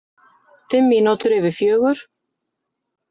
Fimm mínútur yfir fjögur.